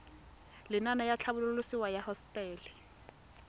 lenaane la tlhabololosewa ya hosetele